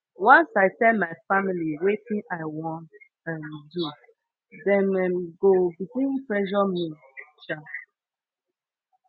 once i tell my family wetin i wan um do dem um go begin pressure me um